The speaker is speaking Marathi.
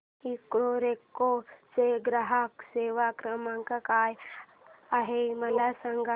इकोरेको चा ग्राहक सेवा क्रमांक काय आहे मला सांग